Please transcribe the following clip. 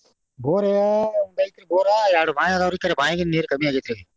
Bore ಒಂದ ಐತ್ರಿ ಬೋರ ಎರಡ್ ಬಾವಿ ಅದಾವ್ರಿ ಖರೆ ಬಾವ್ಯಾಗಿನ ನೀರ ಕಮ್ಮಿ ಆಗೇತ್ರಿ ಈಗ.